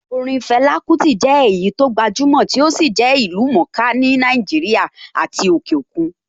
Orin Fela Kuti jẹ́ èyí tó gbajúmọ̀ tó sì jẹ́ ìlú-mọ̀-ó-ká ní Nàìjíríà àti òkè òkun.